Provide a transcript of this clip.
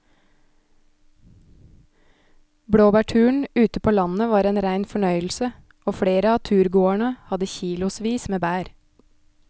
Blåbærturen ute på landet var en rein fornøyelse og flere av turgåerene hadde kilosvis med bær.